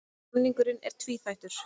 Samningurinn er tvíþættur